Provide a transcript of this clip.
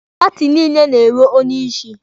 Paati niile na-enwe onye isi.